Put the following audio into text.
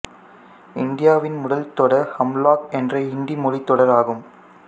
இந்தியாவின் முதல் தொடர் ஹம் லாக் என்ற ஹிந்தி மொழித்தொடர் ஆகும்